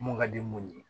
Mun ka di mun ye